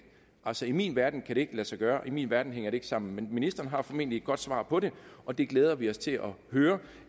altså i min verden kan det ikke lade sig gøre i min verden hænger det ikke sammen men ministeren har formentlig et godt svar på det og det glæder vi os til at høre